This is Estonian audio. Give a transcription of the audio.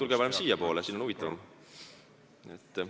Tulge parem siiapoole, siin on huvitavam!